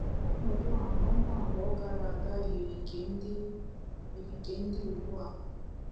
Ọnọdụ a n'ọnwa abụọ gara aga yiri nke dị yiri nke dị ugbu a.